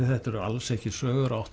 þetta eru alls ekki sögur